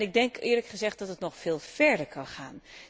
Ik denk, eerlijk gezegd, dat het nog veel verder kan gaan.